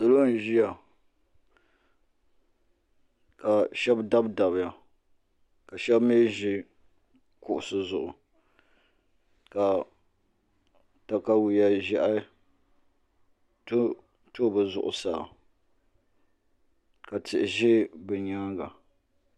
Salo n ʒiya ka shab dabdabiya ka shab mii ʒi kuɣusi zuɣu ka katawiya ʒiɛhi tonto bi zuɣusaa ka tihi ʒɛ bi nyaanga